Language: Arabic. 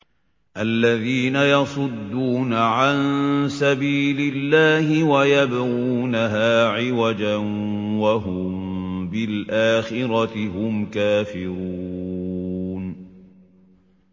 الَّذِينَ يَصُدُّونَ عَن سَبِيلِ اللَّهِ وَيَبْغُونَهَا عِوَجًا وَهُم بِالْآخِرَةِ هُمْ كَافِرُونَ